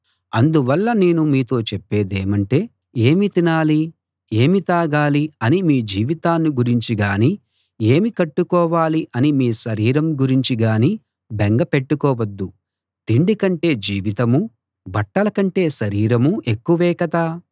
అందువల్ల నేను మీతో చెప్పేదేమంటే ఏమి తినాలి ఏమి తాగాలి అని మీ జీవితాన్ని గురించి గానీ ఏమి కట్టుకోవాలి అని మీ శరీరం గురించి గానీ బెంగ పెట్టుకోవద్దు తిండి కంటే జీవితమూ బట్టల కంటే శరీరమూ ఎక్కువే కదా